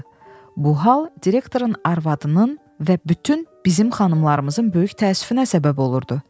Bu hal direktorun arvadının və bütün bizim xanımlarımızın böyük təəssüfünə səbəb olurdu.